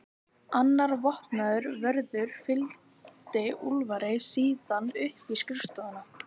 Annar vopnaður vörður fylgdi Úlfari síðan upp í skrifstofuna.